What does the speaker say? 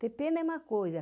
Ter pena é uma coisa.